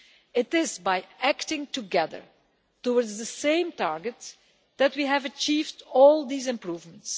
It is by acting together towards the same target that we have achieved all these improvements.